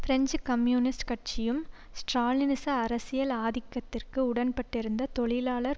French communist கட்சியும் ஸ்ட்ராலினிச அரசியல் ஆதிக்கத்திற்கு உடண்பட்டிருந்த தொழிலாளர்